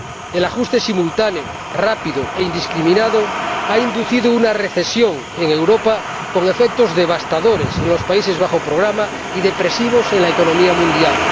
El ajuste simultáneo, rápido e indiscriminado ha inducido una recesión en Europa con efectos devastadores en los países sujetos a un programa y efectos depresivos en la economía mundial.